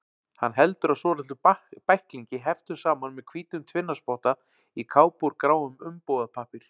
Hann heldur á svolitlum bæklingi, heftum saman með hvítum tvinnaspotta, í kápu úr gráum umbúðapappír.